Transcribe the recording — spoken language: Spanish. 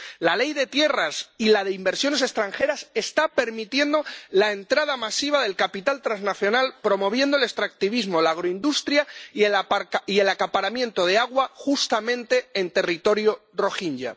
La Ley de tierras y la de inversiones extranjeras está permitiendo la entrada masiva de capital transnacional, promoviendo el extractivismo, la agroindustria y el acaparamiento de agua justamente en territorio rohinyá.